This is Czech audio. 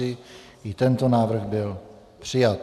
I tento návrh byl přijat.